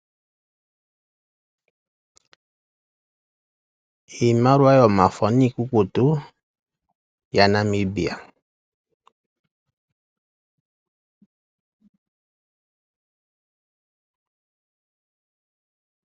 Iimaliwa yomafo niikukutu yaNamibia.